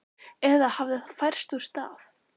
Eða hafði það færst úr stað?